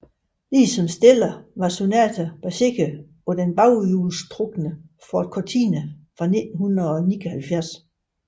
Ligesom Stellar var Sonata baseret på den baghjulstrukne Ford Cortina fra 1979